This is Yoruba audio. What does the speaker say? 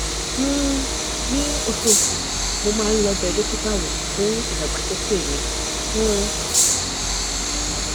um ní oṣooṣù mo máa ń lọ bẹ dókítà wò fún ìdàgbàsókè mi um